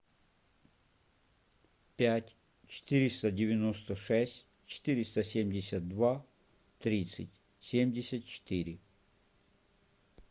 пять четыреста девяносто шесть четыреста семьдесят два тридцать семьдесят четыре